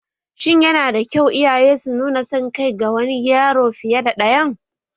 Shin yana da kyau iyaye su nuna son kai ga wani yaro fiye da ɗayan?